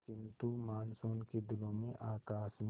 किंतु मानसून के दिनों में आकाश में